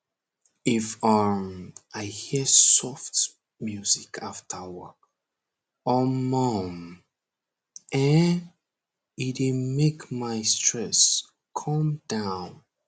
if um i hear soft music after work omor um ehnn e dey make my stress come down